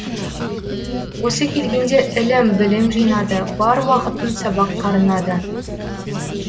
осы келгенде ілім білім жинады бар уақытын сабаққа арнады